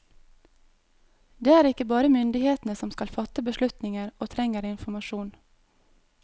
Det er ikke bare myndighetene som skal fatte beslutninger og trenger informasjon.